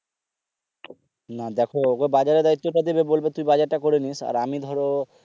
দেখো ওকে বাজারে দায়িত্ব টা দিবে বলবে তুই বাজার টা করে নিস আর আমি ধরো